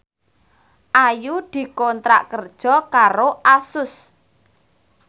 Ayu dikontrak kerja karo Asus